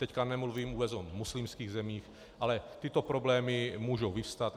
Teď nemluvím vůbec o muslimských zemích, ale tyto problémy můžou vyvstat.